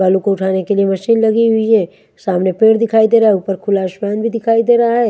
बालू को उठाने के लिए मशीन लगी हुई है सामने पेड़ दिखाई दे रहा है ऊपर खुला आसमान भी दिखाई दे रहा है।